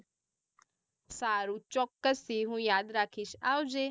સારું ચૌક્કસ હું યાદ રાખીશ આવજે